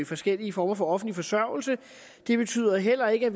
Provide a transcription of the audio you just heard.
forskellige former for offentlig forsørgelse det betyder heller ikke at